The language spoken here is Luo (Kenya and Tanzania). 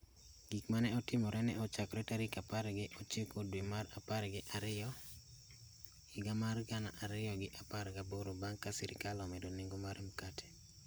Gik ma ne otimore ne ochakore tarik apar gi ochiko dwe mar apar gi ariyo higa mar gana ariyo gi apar gaboro bang' ka sirikal omedo nengo mar makate.